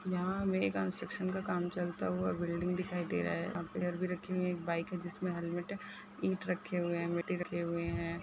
यहाँ हमे एक कन्स्ट्रक्शन का काम चलता हुआ बिल्डिंग दिखाई दे रहा है यहाँ पिलर भी रखी हुई एक बाइक है जिसमें हैलमेट है ईट रखे हुए है मिट्टी रखे हुए हैं।